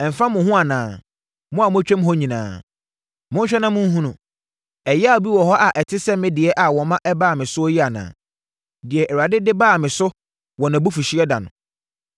“Ɛmfa mo ho anaa, mo a motwam hɔ nyinaa? Monhwɛ na monhunu. Ɛyea bi wɔ hɔ a ɛte sɛ me deɛ a wɔma ɛbaa me soɔ yi anaa? Deɛ Awurade de baa me so wɔ nʼabufuhyeɛ da no.